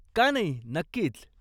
का नाही, नक्कीच.